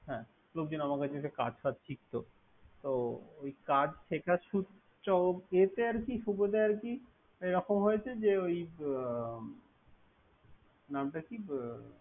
হ্যা লোকজন কার্ড টাক শিখতো তো কার্ড শেখার সূত্রে এ এরকম হয়েছে যে। ওই বে নামটা কি।